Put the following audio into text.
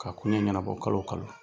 K'a koɲɛ ɲɛnabɔ kalo o kalo.